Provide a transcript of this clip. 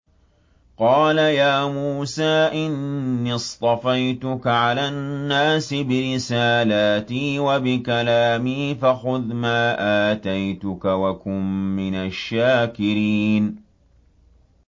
قَالَ يَا مُوسَىٰ إِنِّي اصْطَفَيْتُكَ عَلَى النَّاسِ بِرِسَالَاتِي وَبِكَلَامِي فَخُذْ مَا آتَيْتُكَ وَكُن مِّنَ الشَّاكِرِينَ